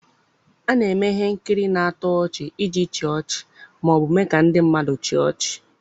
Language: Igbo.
A na-eme ihe nkiri na-atọ ọchị iji chịa ọchị ma ọ bụ mee ka ndị mmadụ chịa ọchị.